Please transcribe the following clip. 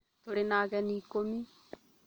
Tũrĩ na ageni ikũmi